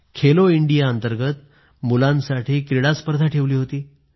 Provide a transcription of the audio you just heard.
Khelo India अंतर्गत मुलांसाठी क्रीडास्पर्धा ठेवली होती